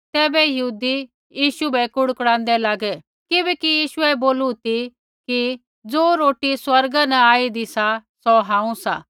तैबै यहूदी यीशु बै कुड़कुड़ांदै लागै किबैकि यीशुऐ बोलू ती कि ज़े रोटी स्वर्गा न आईदी सौ हांऊँ सा